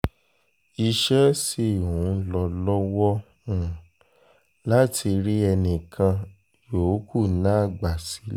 iṣẹ́ sì ń lọ lọ́wọ́ um láti rí ẹnì kan um yòókù náà gbà sílé